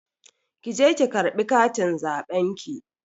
Ki je ki ƙarɓi katin zaɓen ki.